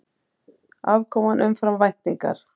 Afkoman umfram væntingar